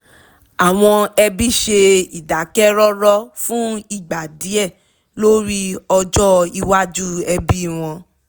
àwọn òbí ṣe ìdákẹ́rọ́rọ̀ fún ìgbà díẹ̀ lórí ọjọ́ iwájú ẹbí wọn